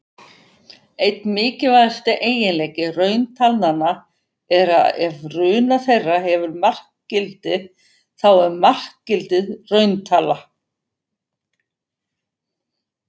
Einn mikilvægasti eiginleiki rauntalnanna er að ef runa þeirra hefur markgildi, þá er markgildið rauntala.